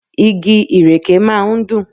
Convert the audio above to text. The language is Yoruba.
Igi ìrèké máa ń dùn